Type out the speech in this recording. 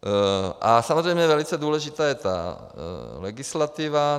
A samozřejmě velice důležitá je legislativa.